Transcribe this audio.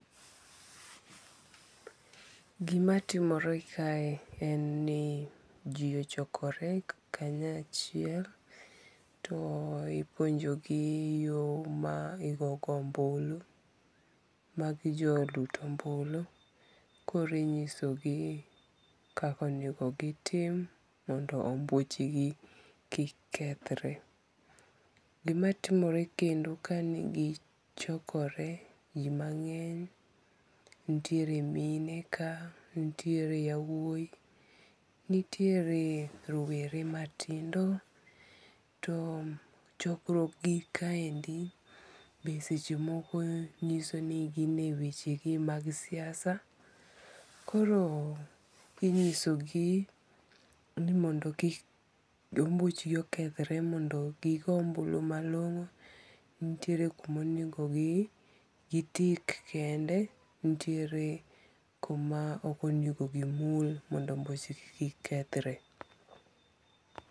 Gimatimore kae en ni ji ochokore kanyo achiel, to ipuonjogi yo ma igogo ombulu, magi jo lut ombulu , koro inyisogi kaka onego gitim mondo ombuchgi kik kethre , gimatimore kendo kanigichokore ji mange'ny, nitiere mine ka, nitiere wauoyi, tiere rowere matindo, too chokruokgi kaendi be sechemoko nyiso ni gin e wechegi mag siasa, koro inyisogi ni mondo kik ombuchi kethre mondo gi go ombulo malongo' nitiere kuna onigo gi tick kende nitiere kuma okonego gimul mondo ombuche kik kethre.